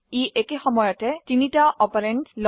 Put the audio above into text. ই একে সময়তে তিনটি অপাৰেন্ডস লয়